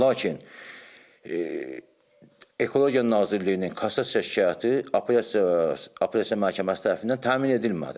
Lakin Ekologiya Nazirliyinin kassasiya şikayəti apelyasiya apelyasiya məhkəməsi tərəfindən təmin edilmədi.